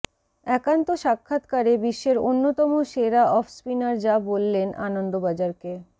একান্ত সাক্ষাৎকারে বিশ্বের অন্যতম সেরা অফস্পিনার যা বললেন আনন্দবাজারকে